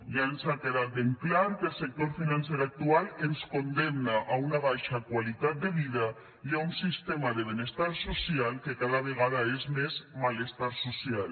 ja ens ha quedat ben clar que el sector financer actual ens condemna a una baixa qualitat de vida i a un sistema de benestar social que cada vegada és més malestar social